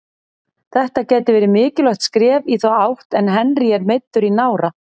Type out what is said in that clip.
Þetta gæti verið mikilvægt skref í þá átt en Henry er meiddur í nára.